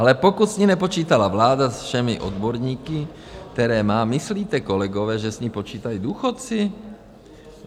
Ale pokud s ní nepočítala vláda se všemi odborníky, které má, myslíte, kolegové, že s ní počítají důchodci?